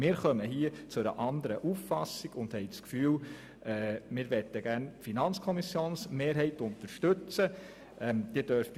Wir gelangen hier zu einer anderen Auffassung und haben das Gefühl, die FiKo-Mehrheit unterstützen zu wollen.